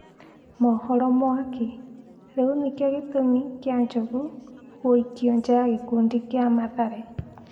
(Mohoro mwaki) Rĩu nĩkĩo gĩtũmi kĩa Njogu gũikio nja ya gĩkundi kĩa Mathare?